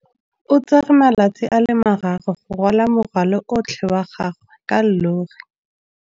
O tsere malatsi a le marraro go rwala morwalo otlhe wa gagwe ka llori.